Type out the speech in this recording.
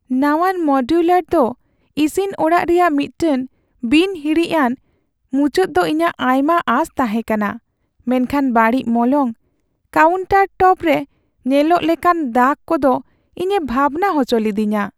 ᱱᱟᱶᱟᱱ modular ᱫᱚ ᱤᱥᱤᱱ ᱚᱲᱟᱜ ᱨᱮᱭᱟᱜ ᱢᱤᱫᱴᱟᱝ ᱵᱤᱱ ᱦᱤᱲᱤᱡᱼᱟᱱ ᱢᱩᱪᱟᱹᱫ ᱫᱚ ᱤᱧᱟᱹᱜ ᱟᱭᱢᱟ ᱟᱸᱥ ᱛᱟᱦᱮᱸ ᱠᱟᱱᱟ, ᱢᱮᱱᱠᱷᱟᱱ ᱵᱟᱹᱲᱤᱡ ᱢᱚᱞᱚᱝ , ᱠᱟᱣᱩᱱᱴᱟᱨᱴᱚᱯ ᱨᱮ ᱧᱮᱞᱚᱜ ᱞᱮᱠᱟᱱ ᱫᱟᱜ ᱠᱚᱫᱚ ᱤᱧᱮ ᱵᱷᱟᱵᱱᱟ ᱦᱚᱪᱚ ᱞᱤᱫᱤᱧᱟ ᱾